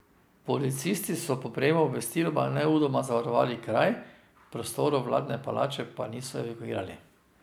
Policisti so po prejemu obvestila nemudoma zavarovali kraj, prostorov vladne palače pa niso evakuirali.